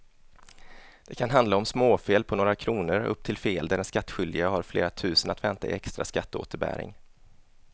Det kan handla om småfel på några kronor upp till fel där den skattskyldige har flera tusen att vänta i extra skatteåterbäring.